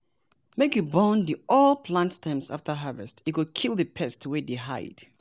make you burn di old plant stems afta harvest e go kill di pests wey dey hide.